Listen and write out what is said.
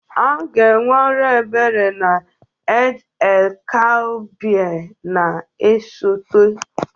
A ga-enwe ọrụ ebere n'Eid-el-Kabir na-esote.